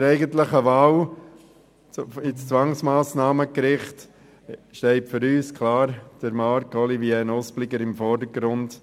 Zur eigentlichen Wahl an das Zwangsmassnahmengericht steht für uns klar Marc-Olivier Nuspliger im Vordergrund.